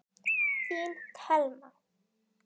Þín Thelma.